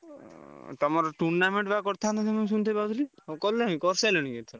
ଉଁ ତମର tournament ବା କରିଥାନ୍ତ ମୁଁ ଶୁଣିତେ ପାଇଥିଲି, କଲଣି କରିସାରିଲଣି ଏଥର?